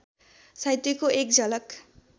साहित्यको एक झलक